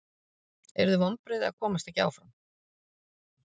Yrðu vonbrigði að komast ekki áfram?